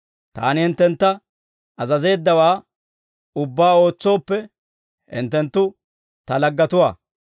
Taani hinttentta azazeeddawaa ubbaa ootsooppe, hinttenttu Ta laggetuwaa.